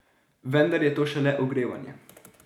Vendar je to šele ogrevanje.